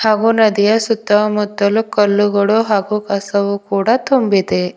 ಹಾಗು ನದಿಯ ಸುತ್ತ ಮುತ್ತಲು ಕಲ್ಲುಗಳು ಹಾಗು ಕಸವು ಕೂಡ ತುಂಬಿದೆ.